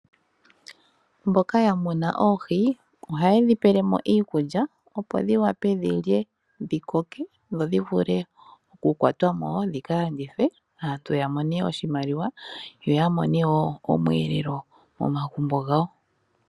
Mboka ya muna oohi ohaye dhi pele mo iikulya opo dhi wape dhi lye dhi koke, dho dhi vule oku kwatwa mo dhika landithwe aantu ya mone oshimaliwa yoya mone woo omweelelo momagumbo gawo.